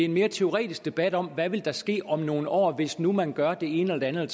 mere teoretisk debat om der vil ske om nogle år hvis nu man gør det ene eller det